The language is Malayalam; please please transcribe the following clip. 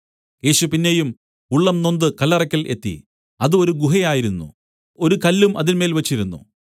യേശു പിന്നെയും ഉള്ളം നൊന്ത് കല്ലറയ്ക്കൽ എത്തി അത് ഒരു ഗുഹ ആയിരുന്നു ഒരു കല്ലും അതിന്മേൽ വെച്ചിരുന്നു